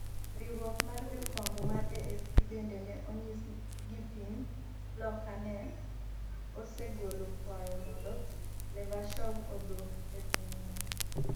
riwruok mar jofwambo mar AFP bende ne onyis ni piny Loka ne osegolo kwayo mondo Levashov odwok e pinyno.